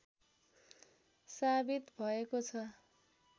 साबित भएको छ